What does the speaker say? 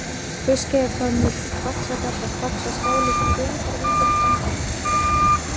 Fauskheiðarhvammur, Faxagata, Faxaskáli, Feigðarvíkurtangi